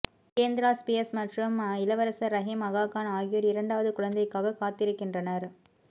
Kendra Spears மற்றும் இளவரசர் ரஹிம் அகா கான் ஆகியோர் இரண்டாவது குழந்தைக்காக காத்திருக்கின்றனர்